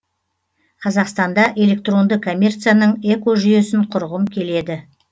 қазақстанда электронды коммерцияның экожүйесін құрғым келеді